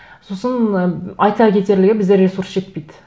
сосын ы айта кетерлігі бізде ресурс жетпейді